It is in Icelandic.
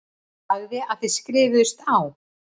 Sagði að þið skrifuðust á.